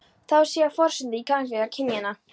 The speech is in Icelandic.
Það á sér forsendu í gagnkvæmni kynjanna.